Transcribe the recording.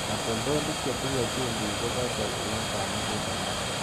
Katoltolik chetinye chumbik kobose nunetab mukuleldo.